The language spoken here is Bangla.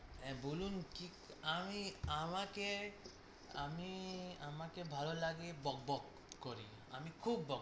হ্যাঁ বলুন কি আমি আমাকে আমি আমাকে ভালো লাগে বক বক করে, আমি খুব বক